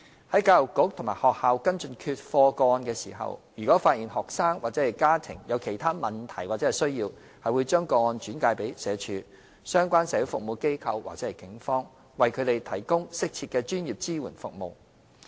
在教育局及學校跟進缺課個案時，如發現學生或其家庭有其他問題或需要，會將個案轉介至社署、相關社會服務機構或警方，為他們提供適切的專業支援服務。